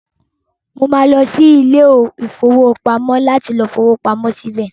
Màá lọ sí ilé-ìfowópamọ́ láti fowó pamọ síbẹ̀.